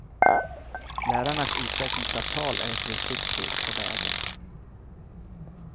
Lärarnas utvecklingsavtal är ett viktigt steg på vägen.